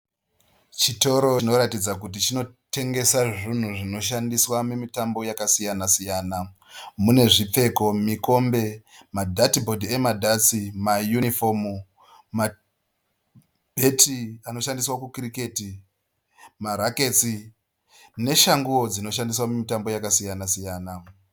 Chitoro chinoratidza kuti chinotengesa zvinhu zvinoshandiswa mumitambo yakasiyana siyana. Mune zvipfeko, mikombe, madhati bhodhi emadhatsi, mayunifomu, mabheti anoshandiswa kukiriketi, marakatsi neshanguwo dzinoshandiswa mumitambo yakasiyana siyana.